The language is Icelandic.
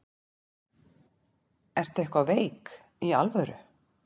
Ertu eitthvað veik. í alvöru?